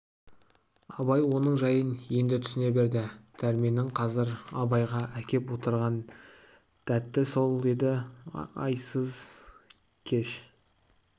абай оның жайын енді түсіне берді дәрменнің қазір абайға әкеп отырған дәті сол еді айсыз кеш